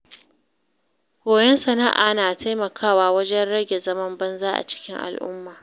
Koyon sana’a na taimakawa wajen rage zaman banza a cikin al’umma.